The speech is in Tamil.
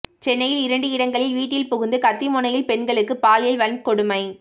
சென்னையில் இரண்டு இடங்களில் வீட்டில் புகுந்து கத்திமுனையில் பெண்களுக்கு பாலியல் வன்கொடுமை